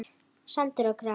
Sandur og gras.